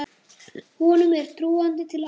Honum er trúandi til alls.